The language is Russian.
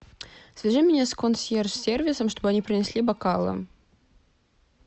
свяжи меня с консьерж сервисом чтобы они принесли бокалы